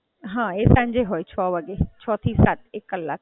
હાં, એ સાંજે હોય છ વાગે, છથી સાત, એક કલાક.